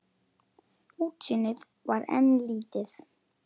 Útsýnið var enn lítið.